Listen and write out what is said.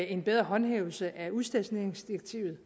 en bedre håndhævelse af udstationeringsdirektivet